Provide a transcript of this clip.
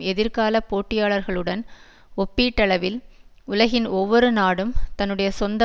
எதிர்கால போட்டியாளர்களுடன் ஒப்பீட்டளவில் உலகின் ஒவ்வொரு நாடும் தன்னுடைய சொந்த